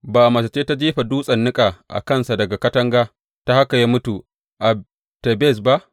Ba mace ce ta jefa dutsen niƙa a kansa daga katanga, ta haka ya mutu a Tebez ba?